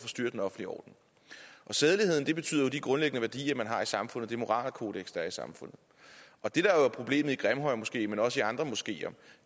forstyrrer den offentlige orden sædeligheden betyder jo de grundlæggende værdier man har i samfundet det moralkodeks der er i samfundet og det der er problemet i grimhøjmoskeen men også i andre moskeer